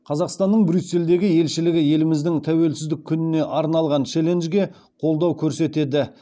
қазақстанның брюссельдегі елшілігі еліміздің тәуелсіздік күніне арналған челленджге қолдау көрсетеді